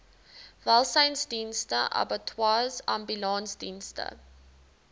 welsynsdienste abattoirs ambulansdienste